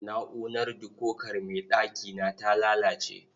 Na'urar dikokar mai ɗakina ta lalace.